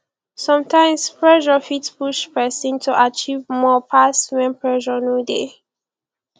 sometimes pressure fit push person to achive more pass when pressure no dey